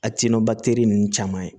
ninnu caman ye